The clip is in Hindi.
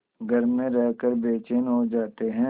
घर में रहकर बेचैन हो जाते हैं